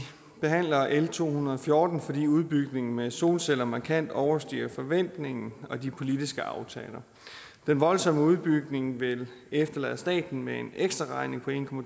behandler l to hundrede og fjorten fordi udbygningen med solceller markant overstiger forventningen og de politiske aftaler den voldsomme udbygning vil efterlade staten med en ekstraregning på en